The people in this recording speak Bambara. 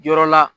Yɔrɔ la